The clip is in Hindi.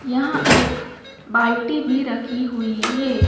यहाँ एक बाल्टी भी रखी हुई है।